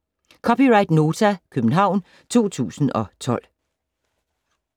(c) Nota, København 2012